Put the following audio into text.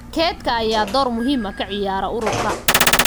Kaydka ayaa door muhiim ah ka ciyaara ururka.